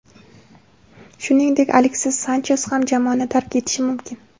Shuningdek, Aleksis Sanches ham jamoani tark etishi mumkin.